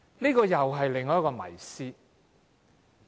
這又是另一個迷思。